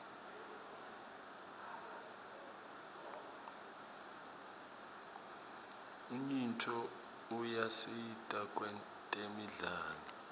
unyiotfo uyasita kwetemidlalo